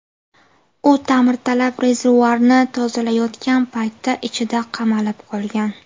U ta’mirtalab rezervuarni tozalayotgan paytda ichida qamalib qolgan.